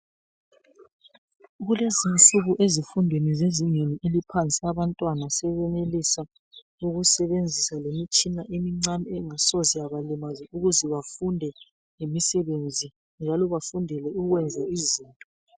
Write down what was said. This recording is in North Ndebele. Kulezi insuku ezifundweni zezingeni eliphansi abantwana sebesenelisa ukusebenzisa lemitshina emincane engasoze ibalimaze ukuze bafunde lemisebenzi njalo bafundele ukwenza izinto.